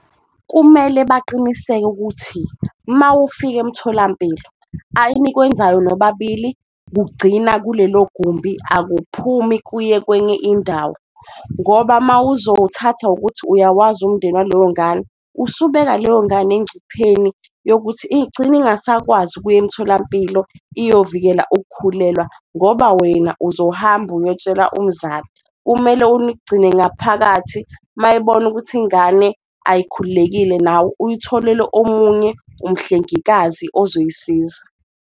Kumele baqiniseke ukuthi mawufike emtholampilo enikwenzayo nobabili kugcina kulelo gumbi, akuphumi kuye kwenye indawo ngoba mawuzowuthatha ngokuthi uyawazi umndeni waleyo ngane. Usubeka leyo ngane engcupheni yokuthi igcina ingasakwazi ukuya emtholampilo iyovikela ukukhulelwa ngoba wena uzohamba uyotshela umzali, kumele unigcine ngaphakathi mayebona ukuthi ingane ayikhululekile, nawe uyitholele omunye umhlengikazi ozoyisiza.